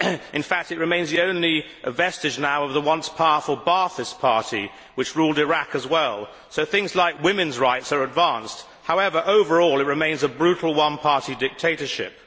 In fact, it remains the only vestige now of the once powerful Ba'athist Party which ruled Iraq as well, so things like women's rights are advanced. However, overall it remains a brutal one party dictatorship.